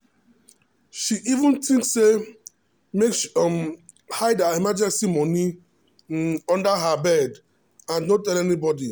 she even think say make she um hide her emergency money um under bed and no tell anybody.